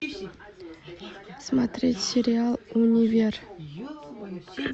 смотреть сериал универ